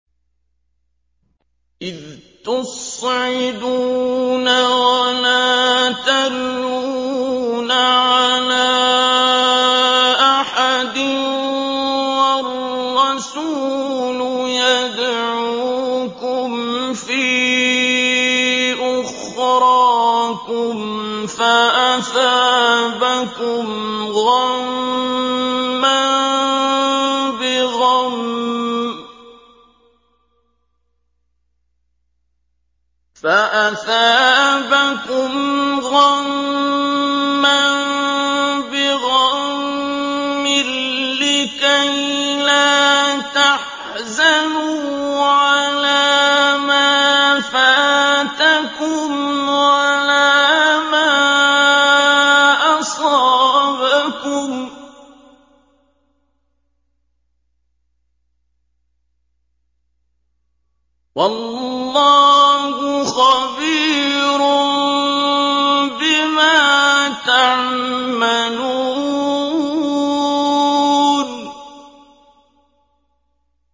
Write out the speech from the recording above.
۞ إِذْ تُصْعِدُونَ وَلَا تَلْوُونَ عَلَىٰ أَحَدٍ وَالرَّسُولُ يَدْعُوكُمْ فِي أُخْرَاكُمْ فَأَثَابَكُمْ غَمًّا بِغَمٍّ لِّكَيْلَا تَحْزَنُوا عَلَىٰ مَا فَاتَكُمْ وَلَا مَا أَصَابَكُمْ ۗ وَاللَّهُ خَبِيرٌ بِمَا تَعْمَلُونَ